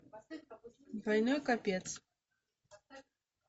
двойной копец